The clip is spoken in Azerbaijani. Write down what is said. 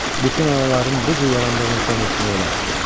Bütün anaların bu cür yarandığını zənn etmək olar.